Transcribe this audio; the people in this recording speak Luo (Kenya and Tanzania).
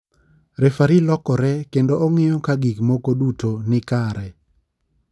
Refari lokore kendo ong'iyo ka gik moko duto ni kare.